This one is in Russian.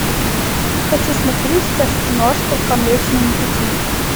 хочу смотреть сейчас киношку по млечному пути